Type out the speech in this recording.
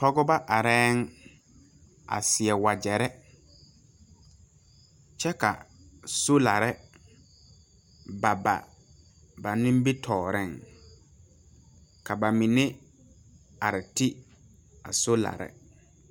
Pɔgebɔ arɛɛŋ a seɛ wagyɛre kyɛ ka solare ba ba ba nimitooreŋ ka ba mine are ti a solare.